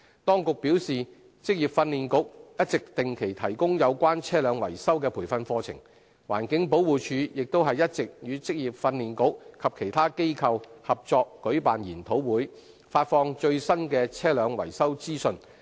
當局表示，職業訓練局一直定期提供有關車輛維修的培訓課程，環境保護署亦一直與職業訓練局及其他機構合作舉辦研討會，發放最新的車輛維修資訊。